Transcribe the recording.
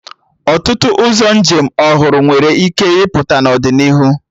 Ọtụtụ ụzọ njem ọhụrụ nwere ike ịpụta n'ọdịnihu